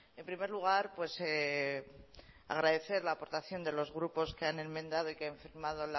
en primer lugar agradecer la aportación de los grupos que han enmendado y que han firmado